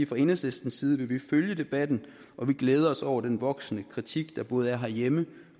fra enhedslistens side vi vil følge debatten og vi glæder os over den voksende kritik der både er herhjemme